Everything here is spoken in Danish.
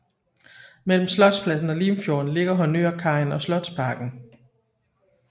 Mellem Slotspladsen og Limfjorden ligger honnørkajen og Slotsparken